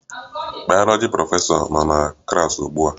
Bayoloji prọfesọ no na klas ugbua